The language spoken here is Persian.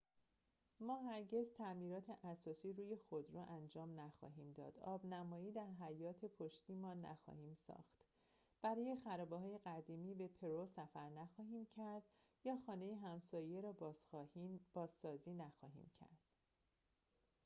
ما هرگز تعمیرات اساسی روی خودرو انجام نخواهیم داد آب‌نمایی در حیاط پشتی‌مان نخواهیم ساخت برای خرابه‌های قدیمی به پرو سفر نخواهیم کرد یا خانه همسایه را بازسازی نخواهیم کرد